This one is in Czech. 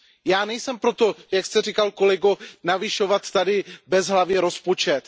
Já nejsem pro to, jak jste říkal, kolego, navyšovat bezhlavě rozpočet.